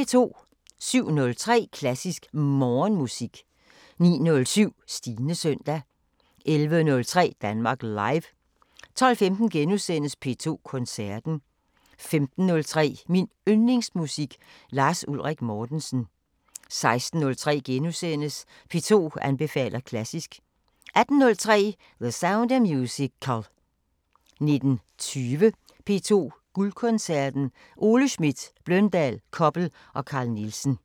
07:03: Klassisk Morgenmusik 09:07: Stines søndag 11:03: Danmark Live 12:15: P2 Koncerten * 15:03: Min Yndlingsmusik: Lars Ulrik Mortensen 16:03: P2 anbefaler klassisk * 18:03: The Sound of Musical 19:20: P2 Guldkoncerten: Ole Schmidt, Bløndal, Koppel og Carl Nielsen